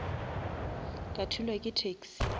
ka thulwa ke taxi